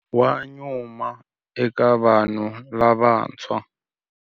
Wa nyuma eka vanhu lavantshwa.